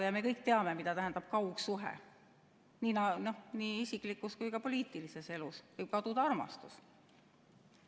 Ja me kõik teame, mida tähendab kaugsuhe, nii isiklikus kui ka poliitilises elus – võib kaduda armastus.